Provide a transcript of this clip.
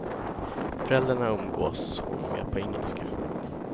Föräldrarna umgås hon med på engelska.